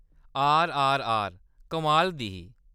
आरआरआर, कमाल दी ही।